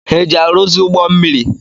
Ha eji ngwa eji arụzi ụgbọ mmiri?